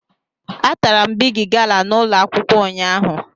Atara m Bigi gala n' ụlọ akwụkwọ ụnyaahụ